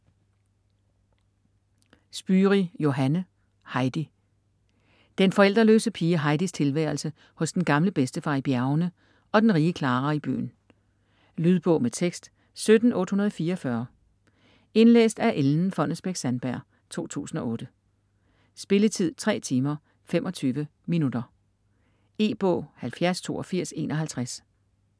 Spyri, Johanne: Heidi Den forældreløse pige Heidis tilværelse hos den gamle bedstefar i bjergene og den rige Klara i byen. Lydbog med tekst 17844 Indlæst af Ellen Fonnesbech-Sandberg, 2008. Spilletid: 3 timer, 25 minutter. E-bog 708251 2008.